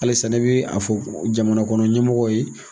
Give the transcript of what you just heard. Halisa ne bi a fɔ jamana kɔnɔ ɲɛmɔgɔw ye